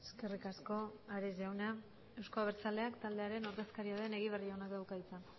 eskerrik asko ares jauna euzko abertzaleak taldearen ordezkaria den egibar jaunak dauka hitza